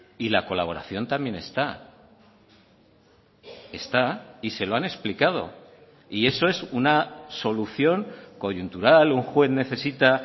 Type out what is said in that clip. y la colaboración también está está y se lo han explicado y eso es una solución coyuntural un juez necesita